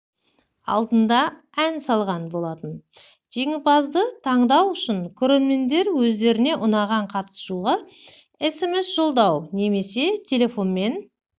алдында ән салған болатын жеңімпазды таңдау үшін көрермендер өздеріне ұнаған қатысушыға смс жолдау немесе телефонмен